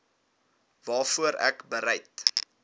waarvoor ek bereid